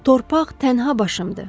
Torpaq tənha başımdır.